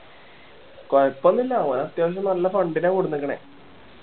കൊഴപ്പം ഒന്നൂല്ല ഓനെ അത്യാവശ്യം fund നാ കൊണ്ട് വന്നേക്കണേ